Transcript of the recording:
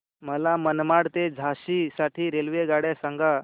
मला मनमाड ते झाशी साठी रेल्वेगाड्या सांगा